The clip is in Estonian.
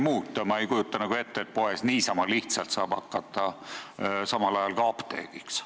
Ma ei kujuta nagu ette, et pood niisama lihtsalt saab hakata ka apteegiks.